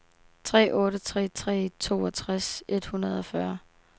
tre otte tre tre toogtres et hundrede og fyrre